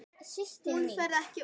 Hún fer ekkert út!